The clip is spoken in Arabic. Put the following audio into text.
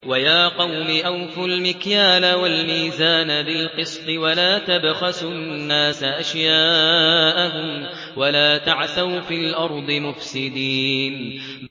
وَيَا قَوْمِ أَوْفُوا الْمِكْيَالَ وَالْمِيزَانَ بِالْقِسْطِ ۖ وَلَا تَبْخَسُوا النَّاسَ أَشْيَاءَهُمْ وَلَا تَعْثَوْا فِي الْأَرْضِ مُفْسِدِينَ